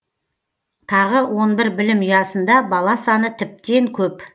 тағы он бір білім ұясында бала саны тіптен көп